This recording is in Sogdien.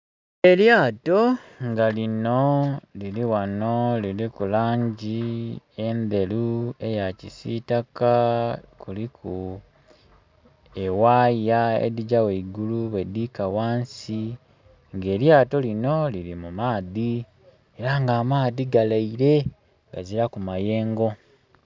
Elyato nga lino liri ghano liriku langi endheru, eyakisitaka kuliku ewaya edhigya gheigulu bwedhika wansi nga elyato lino liri mu maadhi era nga amaadhi ga leire gaziraku mayengo.